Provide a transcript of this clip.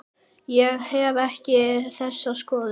Ég hef ekki þessa skoðun.